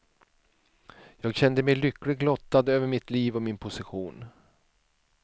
Jag kände mig lyckligt lottad över mitt liv och min position.